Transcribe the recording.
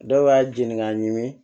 Dɔw b'a jeni k'a ɲimi